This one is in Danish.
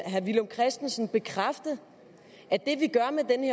herre villum christensen bekræfte